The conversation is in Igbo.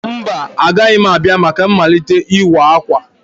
Mba, agaghị m abịa maka mmalite ịwa akwa.